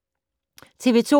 TV 2